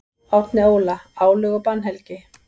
Árni Óla: Álög og bannhelgi.